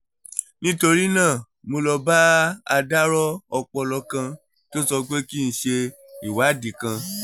nítorí náà mo lọ bá adarọ́ ọpọlọ kan tó sọ pé kí n ṣe ìwádìí kan